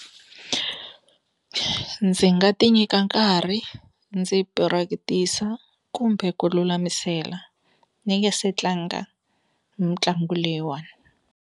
Ndzi nga ti nyika nkarhi ndzi practice-a kumbe ku lulamisela ni nge se tlanga mitlangu leyiwani.